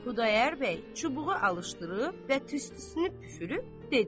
Xudayar bəy çubuğu alışdırıb və tüstüsünü püfürüb dedi.